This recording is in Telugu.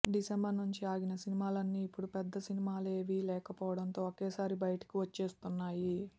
డిసెంబర్ నుంచి ఆగిన సినిమాలన్నీ ఇప్పుడు పెద్ద సినిమాలేవీ లేకపోవడంతో ఒకేసారి బయటికి వచ్చేస్తున్నాయి